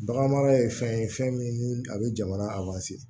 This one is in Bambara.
Baganmara ye fɛn ye fɛn min ni a bɛ jamana